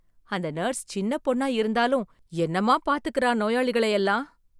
அந்த நர்ஸ் சின்ன பொண்ணா இருந்தாலும் என்னவா பாத்துக்குறா நோயாளிகளை எல்லாம்!